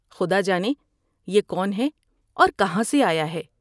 خدا جانے یہ کون ہے اور کہاں سے آیا ہے ۔